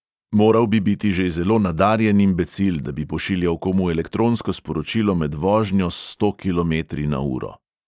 "Moral bi biti že zelo nadarjen imbecil, da bi pošiljal komu elektronsko sporočilo med vožnjo s sto kilometri na uro."